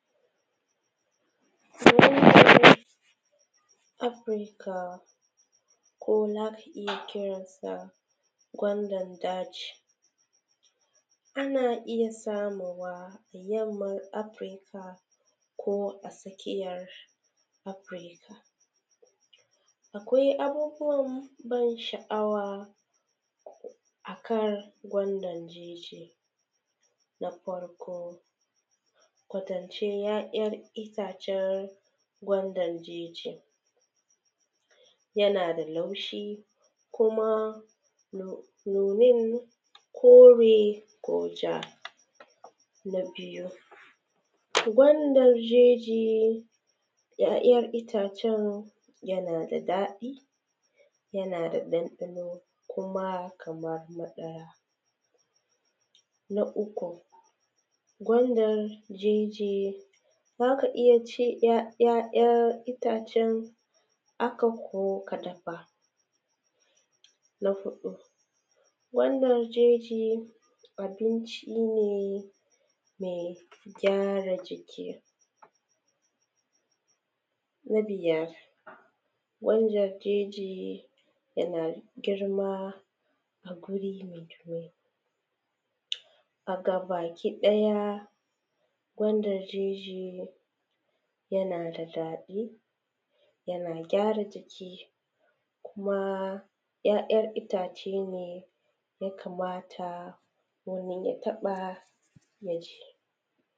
“-Africa” kuma za ka iya kiran sa gwandan daji. Ana iya samarwa Yamman Afrika ko a tsakiyar afrika. Akwai abubuwan bansha’awa a kan gwandan jeji; na farko, kwatance ya’yar itacen gwandan jeji yana da laushi kuma nun; nunan kore ko ja. Na biyu, gwandan jeji yana da daɗi yana da ɗanɗano kuma kamar maɗaya. Na uku, gwandan jeji, za ka iya ci ‘ya ’ya’ayar itacen aka ko ka dafa. Na huɗu, gwandan jeji abinci ne me gyara jiki. Na biyar, gwandan jeji yana girma da guri me ruwa. A gabaki ɗaya, gwandar jeji yana da daɗi, yana gyara jiki kuma ‘ya’yar itace ne ya kamata wani ya taƃa ya ji.